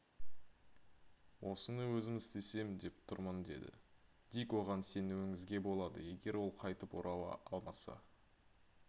осыны өзім істесем деп тұрмын деді дик оған сенуіңізге болады егер ол қайтып орала алмаса